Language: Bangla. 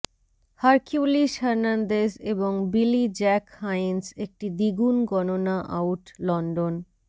হারকিউলিস হার্নান্দেজ এবং বিলি জ্যাক হায়েন্স একটি দ্বিগুণ গণনা আউট লন্ডন